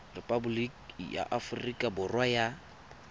repaboliki ya aforika borwa ya